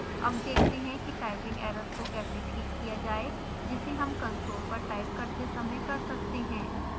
अब देखते हैं कि टाइपिंग एरर्स को कैसे ठीक किया जाय जिसे हम कंसोल पर टाइप करते समय कर सकते हैं